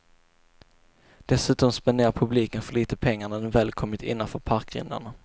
Dessutom spenderar publiken för lite pengar när den väl kommit innanför parkgrindarna.